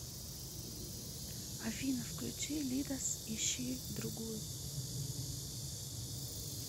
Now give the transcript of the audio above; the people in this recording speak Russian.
афина включи лидус ищи другую